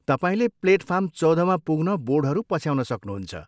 तपाईँले प्लेटफार्म चौधमा पुग्न बोर्डहरू पछ्याउन सक्नुहुन्छ।